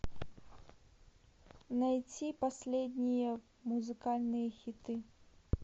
найти последние музыкальные хиты